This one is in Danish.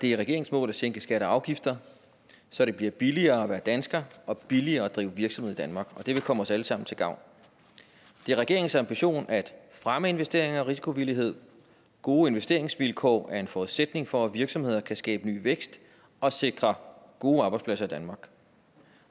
det er regeringens mål at sænke skatter og afgifter så det bliver billigere at være dansker og billigere at drive virksomhed i danmark det vil komme os alle sammen til gavn det er regeringens ambition at fremme investeringer og risikovillighed gode investeringsvilkår er en forudsætning for at virksomheder kan skabe ny vækst og sikre gode arbejdspladser i danmark